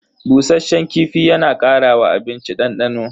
Bushasshen kifi yana kara wa abinci dandano.